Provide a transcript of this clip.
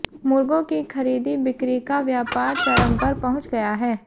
मुर्गों की खरीदी बिक्री का व्यापार चरम पर पहुंच गया है